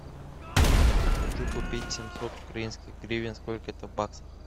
хочу купить семьсот украинских гривен сколько это в баксах